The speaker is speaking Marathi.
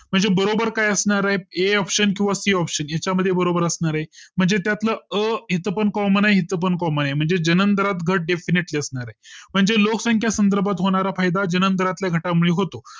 म्हणजे बरोबर काय असणार आहे A option किंवा Koption याचा मध्ये बरोबर असणार आहे म्हणजे त्यात ल अ इथपण Common आहे इथपण Common आहे म्हणजे जन्मदरात घट Definitily असणार आहे म्हणजे लोकसंख्या संदर्भात होणारा फायदा ज्या नंतर आता घाटा मुळे होतो